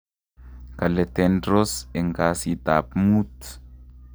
kale Tendros en kaasit-aap muut